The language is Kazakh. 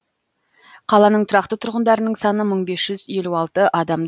қаланың тұрақты тұрғындарының саны мың бес жүз елу алты адам